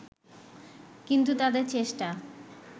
কিন্তু তাদের চেষ্টা